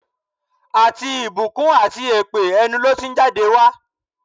Àti ìbùkún àti èpè, ẹnu ló ti ń jáde wá.